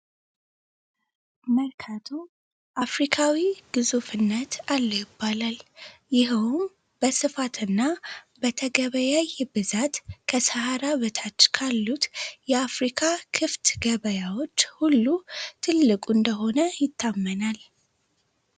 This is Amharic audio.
በርካቶ አፍሪካዊ ግዙፍነት አለዉ ይባላል። ይሆን በስፋትና በተገበያ ብዛት ከሰሃራ በታች ካሉት የአፍሪካ ክፍት ገበያዎች ሁሉ ትልቁ እንደሆነ ይታመናል።